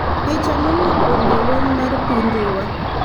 Picha mowuok kuom jolweny mar pi Dhiwa .